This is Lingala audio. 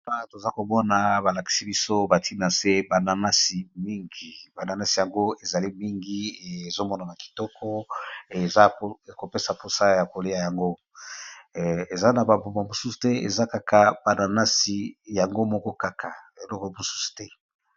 Awa toza komona balakisi biso batina nse aasi mingibananasi yango ezali mingi ezomona na kitoko e eza kopesa mposa ya kolia yango eza na baboma mosusu te eza kaka bananasi yango moko kaka eloko mosusu te.